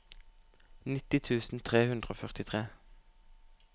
nitti tusen tre hundre og førtitre